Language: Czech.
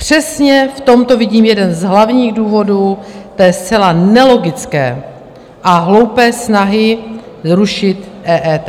Přesně v tomto vidím jeden z hlavních důvodů té zcela nelogické a hloupé snahy zrušit EET.